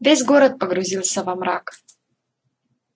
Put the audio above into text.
весь город погрузился во мрак